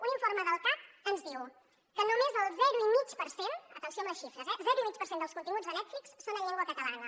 un informe del cac ens diu que només el zero i mig per cent atenció a les xifres eh dels contin·guts de netflix són en llengua catalana